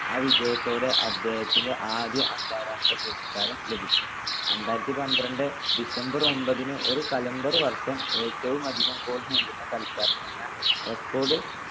ആ വിജയത്തോടെ അദ്ദേഹത്തിന് ആദ്യ അന്താരാഷ്ട്ര പുരസ്കാരം ലഭിച്ചു. രണ്ടായിരത്തിപന്ത്രണ്ട് December ഒമ്പതിന് ഒരു calendar വർഷം ഏറ്റവുമധികം goal നേടുന്ന കളിക്കാരൻ എന്ന record